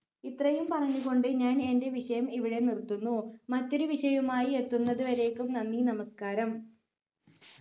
ഇത്രയും പറഞ്ഞു കൊണ്ട് ഞാൻ എന്റെ വിഷയം ഇവിടെ നിറുത്തുന്നു മറ്റൊരു വിഷയമായി എത്തുന്നതുവരേക്കും നന്ദി നമസ്കാരം